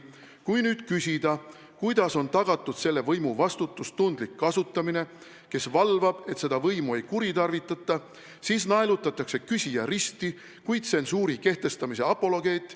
Kui nüüd küsida, kuidas on tagatud selle võimu vastutustundlik kasutamine, kes valvab, et seda võimu ei kuritarvitata, siis naelutatakse küsija risti kui tsensuuri kehtestamise apologeet.